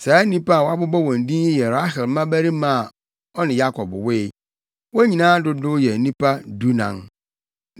Saa nnipa a wɔabobɔ wɔn din yi yɛ Rahel mmabarima a ɔne Yakob woe. Wɔn nyinaa dodow yɛ nnipa dunan.